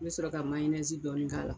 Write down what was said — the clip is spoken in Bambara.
I bɛ sɔrɔ ka dɔɔni k'a la.